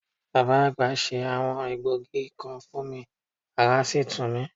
Bàbá àgbà se àwọn egbògi kan fún mi, ará sì tù mí.